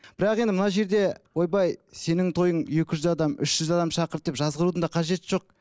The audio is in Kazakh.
бірақ енді мына жерде ойбай сенің тойың екі жүз адам үш жүз адам шақырды деп жазғырудың да қажеті жоқ